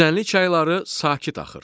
Düzənlik çayları sakit axır.